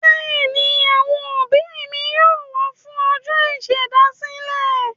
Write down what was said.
Bẹ́ẹ̀ ni, àwọn òbí mi yóò wà á fún ọjọ́ ìṣèdásílẹ̀.